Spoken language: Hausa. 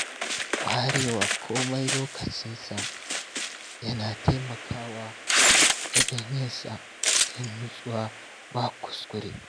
Warewa komai lokacinsa yana taimakawa wajen yinsa cikin nutsuwa ba kuskure.